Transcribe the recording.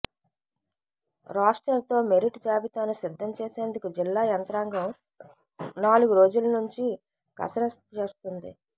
రోస్టర్తో merit జాబితాను సిద్ధం చేసేందుకు జిల్లా యంత్రాంగం నాలుగు రోజుల నుంచి కసరత్తు చేస్తోంది